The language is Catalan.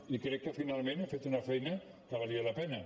i crec que finalment hem fet una feina que valia la pena